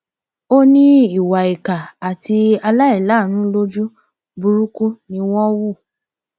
ó ní ìwà ìkà àti aláìláàánú lójú burúkú ni wọn hù